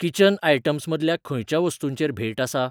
Kitchen items मदल्या खंयच्या वस्तूंचेर भेंट आसा?